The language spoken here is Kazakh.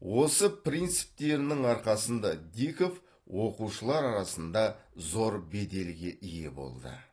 осы принциптерінің арқасында диков оқушылар арасында зор беделге ие болды